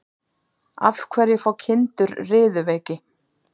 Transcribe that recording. Af hverju fá kindur riðuveiki?